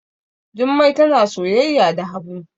Jummai tana soyayya da habu